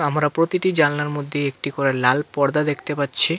আমরা প্রতিটি জালনার মধ্যেই একটি করে লাল পর্দা দেখতে পাচ্ছি।